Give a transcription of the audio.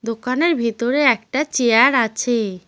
দোকানের ভিতরে একটা চেয়ার আছে।